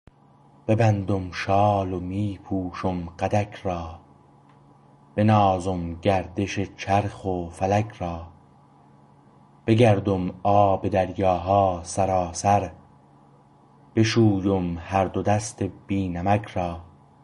ببندم شال و می پوشم قدک را بنازم گردش چرخ و فلک را بگردم آب دریاها سراسر بشویم هر دو دست بی نمک را